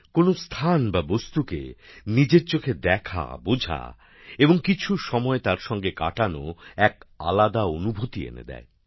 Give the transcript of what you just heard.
কোন স্থান বা বস্তুকে নিজের চোখে দেখা বোঝা এবং কিছু সময় তার সঙ্গে কাটানো এক আলাদা অনুভূতি এনে দেয়